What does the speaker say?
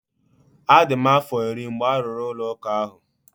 A dị m afọ iri mgbe a rụrụ ụlọ ụka ahụ.